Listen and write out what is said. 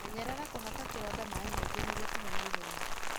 Menyerera kũhaka kĩronda maĩ maingĩ nĩguo kĩhone ihenya.